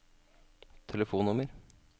telefonnummer